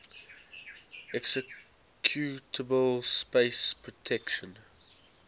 executable space protection